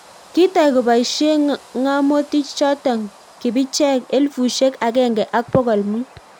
Kitai kobaishie ngamotich chotok kibicheek elefusiek agenge ak pokol mut